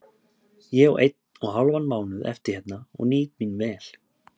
Ég á einn og hálfan mánuð eftir hérna og nýt mín vel.